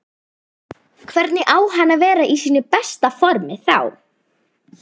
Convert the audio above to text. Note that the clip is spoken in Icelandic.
Hvernig á hann að vera í sínu besta formi þá?